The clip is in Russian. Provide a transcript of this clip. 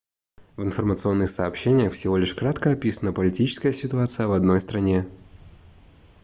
в информационных сообщениях всего лишь кратко описана политическая ситуация в одной стране